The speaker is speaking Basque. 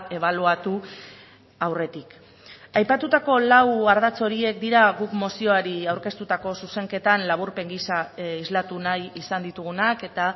ebaluatu aurretik aipatutako lau ardatz horiek dira guk mozioari aurkeztutako zuzenketan laburpen giza islatu nahi izan ditugunak eta